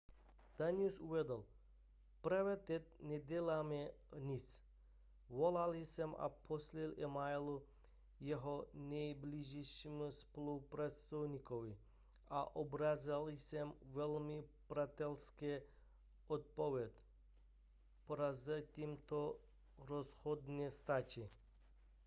danius uvedl právě teď neděláme nic volal jsem a posílal e-maily jeho nejbližšímu spolupracovníkovi a obdržel jsem velmi přátelské odpovědi prozatím to rozhodně stačí